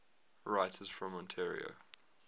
writers from ontario